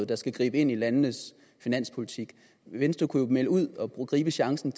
der skal gribe ind i landenes finanspolitik venstre kunne jo melde noget ud og gribe chancen